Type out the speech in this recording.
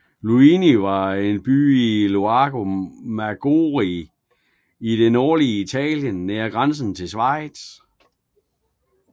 Luino er en by ved Lago Maggiore i det nordlige Italien nær grænsen til Schweiz